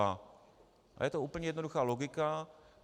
A je to úplně jednoduchá logika.